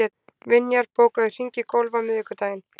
Vinjar, bókaðu hring í golf á miðvikudaginn.